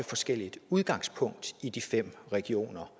forskellige udgangspunkter i de fem regioner